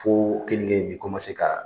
Fo kenige in bi ka